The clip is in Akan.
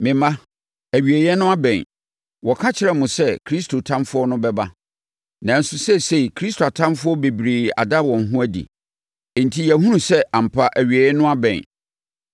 Me mma, awieeɛ no abɛn. Wɔka kyerɛɛ mo sɛ Kristo Tamfoɔ no bɛba, nanso seesei, Kristo atamfoɔ bebree ada wɔn ho adi, enti yɛahunu sɛ ampa awieeɛ no abɛn.